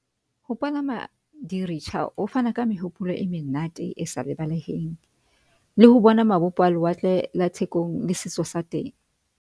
Ho palama di-rickshaw ho fana ka mehopolo e menate esa lebaleheng le ho bona mabopo a lewatle la Thekong le setso sa teng.